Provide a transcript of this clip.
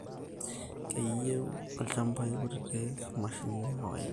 Keyieu ilchambai kutitik mashinini e kawaida